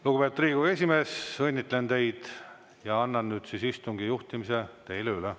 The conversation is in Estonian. Lugupeetud Riigikogu esimees, õnnitlen teid ja annan istungi juhtimise teile üle.